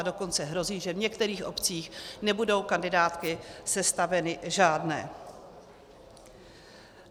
A dokonce hrozí, že v některých obcích nebudou kandidátky sestaveny žádné.